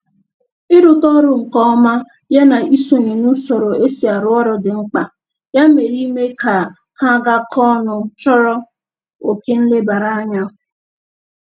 Ịrụta ọrụ nke ọma ya na isonye n'usoro e si arụ ọrụ dị mkpa, ya mere ime ka ha gakọọ ọnụ chọrọ oke nlebaranya